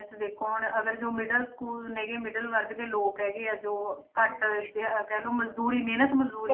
ਦੇਖੋ ਹੁਣ ਅਗਰ ਜੋ middle school ਨੇ ਗੇ middle ਵਰਗ ਦੇ ਲੋਕ ਹੈਗੇ ਆ ਜੋ ਘੱਟ ਜੇ ਕਹਿ ਲਓ ਮਜ਼ਦੂਰੀ ਮਿਹਨਤ ਮਜ਼ਦੂਰੀ